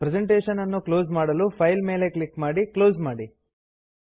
presentation ನ್ನು close ಮಾಡಲು file ಮೇಲೆ ಕ್ಲಿಕ್ ಮಾಡಿ ಕ್ಲೋಸ್ ಮಾಡಿ